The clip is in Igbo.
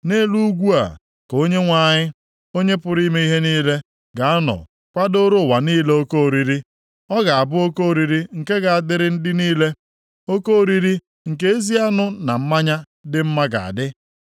Nʼelu ugwu a, ka Onyenwe anyị, Onye pụrụ ime ihe niile ga-anọ kwadooro ụwa niile oke oriri. Ọ ga-abụ oke oriri nke ga-adịrị ndị niile. Oke oriri nke ezi anụ na mmanya dị mma ga-adị.